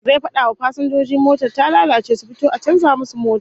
Zai fada wa fasinjojin motar ta lalace su fito a canza musu mota